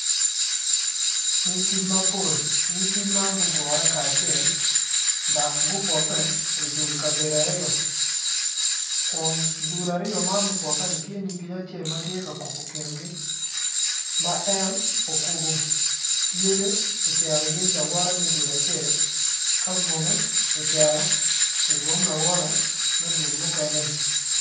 Nyig kic mapol, nyig kic ma gugure kacel dok gupoke i dul kabedo aryo kun dul aryo man mupoke ni tye nyig kic acel matye ka kubo kingi ma en okubo yecce ocero yec kawote me dul acel kabwome ocero ibwom lawote me duk mukene ni.